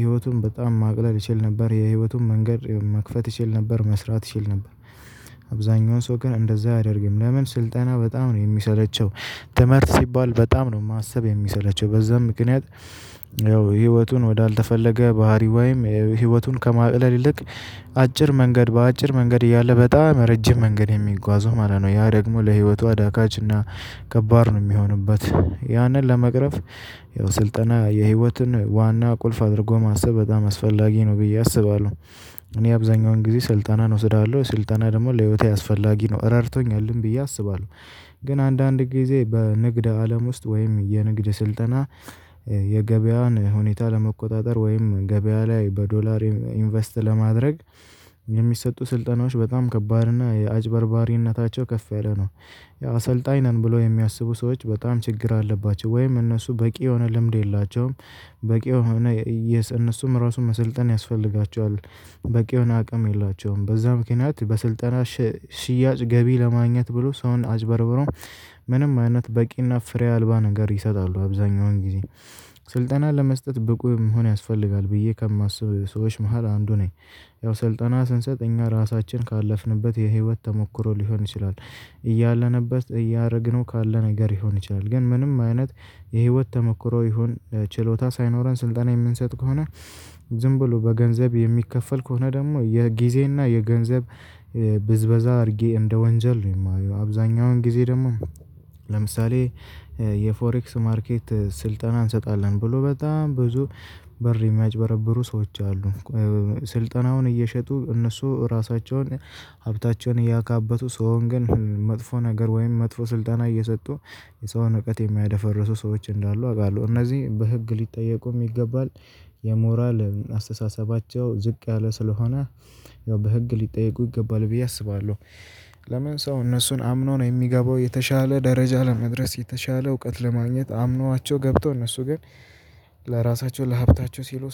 ህይወቱን በጣም ማቅለል ይችል ነበር የህይወቱን መንገድ መክፈት ይችል ነበር መስራት ይችል ነበር። አብዛኛውን ሰው ግን እንደዚያ አያደርግም ለምን? ስልጠና በጣም ነው የሚሰለቸው። ትምህርት ሲባል በጣም ነው ማሰብ የሚሰለቸው በዚያም ምክንያት። ያው ህይወቱን ወደ አልተፈለገ ባህሪ ወይም ህይወቱን ከማቅለል ይልቅ። አጭር መንገድ በአጭር መንገድ እያለ በጣም ረጅም መንገድ የሚጓዘው ማለት ነው ያ ደግሞ ለህይወቱ አዳጋችና። ከባድ ነው ሚሆንበት ያንን ለመቅረፍ። ያው ስልጠና የህይወትን ዋና ቁልፍ አድርጎ ማሰብ በጣም አስፈላጊ ነው ብዬ አስባለሁ። እኔ አብዛኛውን ጊዜ ስልጠናን እወስዳለሁ ስልጠና ደግሞ ለህይወቴ አስፈላጊ ነው ረድቶኛልም ብዬ አስባለሁ። ግን አንዳንድ ጊዜ በንግደ አለም ውስጥ ወይም የንግድ ስልጠና። የገበያውን ሁኔታ ለመቆጣጠር ወይም ገበያ ላይ በዶላር ኢንቨስት ለማድረግ። የሚሰጡ ስልጠናዎች በጣም ከባድ እና አጭበርባሪነታቸው ከፍ ያለ ነው። አሰልጣኝ ነን ብሎ የሚያስቡ ሰዎች በጣም ችግር አለባቸው ወይም እነሱ በቂ የሆነ ልምድ የላቸውም። በቂ የሆነ እነሱም እራሱ መሰልጠን ያስፈልጋቸዋል። በቂ የሆነ አቅም የላቸውም በዚያ ምክንያት በስልጠና። ሽያጭ ገቢ ለማግኘት ብሎ ሰውን አጭበርብሮ። ምንም አይነት በቂና ፍሬ አልባ ነገር ይሰጣሉ አብዛኛውን ጊዜ። ስልጠና ለመስጠት ብቁ መሆን ያስፈልጋል ብዬ ከማስብ ሰዎች መካከል አንዱ ነኝ። ያው ስልጠና ስንሰጥ እኛ እራሳችን ከ አለፍንበት የህይወት ተሞክሮ ሊሆን ይችላል። እያለንበት እያደረግነው ካለ ነገር ሊሆን ይችላል ግን ምንም አይነት የህይወት ተሞክሮ ይሁን ችሎታ ሳይኖረን ስልጠና የምንሰጥ ከሆነ። ዝም ብሎ በገንዘብ የሚከፈል ከሆነ ደግሞ የጊዜና የገንዘብ ብዝበዛ አድርጌ እንደ ወንጀል ነው የማየው አብዛኛውን ጊዜ ደግሞ። ለምሳሌ የፎሬክስ ማርኬት ስልጠና እንሰጣለን ብሎ በጣም ብዙ ብር የሚያጭበረብሩ ሰዎች አሉ። ስልጠናውን እየሸጡ እነሱ ራሳቸውን ሀብታቸውን እያካበቱ ሰውን ግን መጥፎ ነገር ወይም መጥፎ ስልጠና እየሰጡ። የሰውን እውቀት የሚያደፈርሱ ሰዎች እንዳሉ አውቃለሁ እነዚህ በህግ ሊጠየቁም ይገባል። የሞራል አስተሳሰባቸው ዝቅ ያለ ስለሆነ። ያው በህግ ሊጠየቁ ይገባል ብዬ አስባለሁ። ለምን ሰው እነሱን አምኖ ነው የሚገባው የተሻለ ደረጃ ለመድረስ የተሻለ እውቀት ለማግኘት አምኗቸው ገብቶ እነሱ ግን። ለራሳቸው ለሀብታቸው ሲሉ